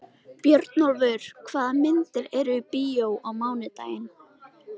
Björnólfur, hvaða myndir eru í bíó á mánudaginn?